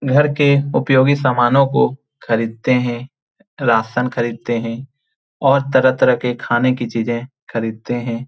घर के उपयोगी सामानों को खरीदते हैं राशन खरीदते हैं और तरह तरह के खाने के चीज़े खरीदते हैं।